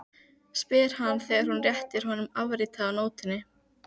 spyr hann þegar hún réttir honum afritið af nótunni.